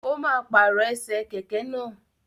O máa pàrọ̀ ẹsẹ̀ kẹ̀kẹ́ náà.